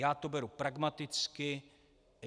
Já to beru pragmaticky.